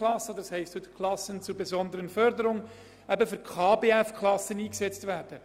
Es kann weiterhin «Klassen zur besonderen Förderung (KbF)», wie die Kleinklassen heute heissen, geben.